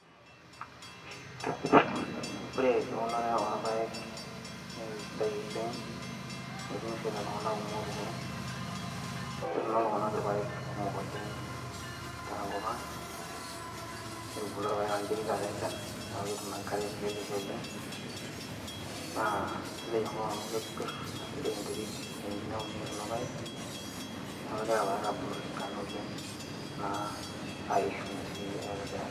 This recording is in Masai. ore eunore orpayek naa eisidai oleng amu etunishote iltung'anak kumok oleng etuno iltung'anak kumok irpayek oleng tenkop ang netubulutua irpayek amu ketii taata enchan niaku ketum enkare teleleki oleng naa kisidai enkop ang amu kepirr naa kisidai enterit naunieki kulo payek niaku kegira irpayek abulu tesidano oleng naa aisho sii aitobiraki.